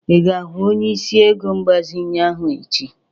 Ị ga-ahụ onyeisi ego mgbazinye ahụ echi?